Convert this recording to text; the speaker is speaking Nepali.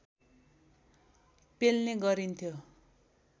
पेल्ने गरिन्थ्यो